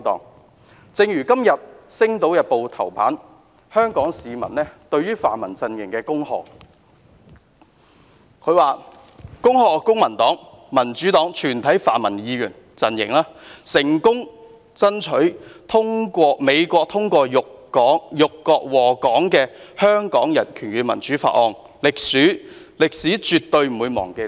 因此，正如今天《星島日報》頭版刊登一則由名為"香港市民"向泛民陣營"恭賀"的廣告所帶出的一點：恭賀公民黨、民主黨及全體泛民陣營成功爭取美國通過辱國禍港的《香港人權與民主法案》，"歷史絕對不會忘記你們！